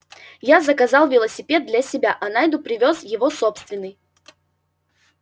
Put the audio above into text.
я заказал велосипед для себя а найду привёз его собственный